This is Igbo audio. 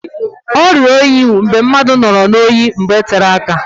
Ọrịa oyi bụ mgbe mmadụ nọrọ n'oyi mgbe tere áká